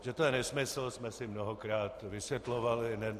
Že to je nesmysl, jsme si mnohokrát vysvětlovali.